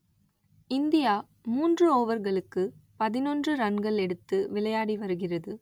India மூன்று ஓவர்களுக்கு பதினொன்று ரன்கள் எடுத்து விளையாடி வருகிறது